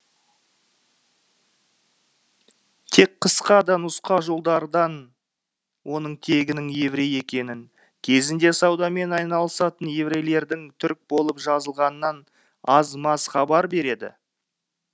тек қысқа да нұсқа жолдардан оның тегінің еврей екенін кезінде саудамен айналысатын еврейлердің түрік болып жазылғанынан аз маз хабар береді